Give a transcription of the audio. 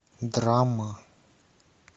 драма